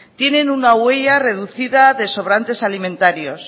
tienen una huella reducida de sobrantes alimentarios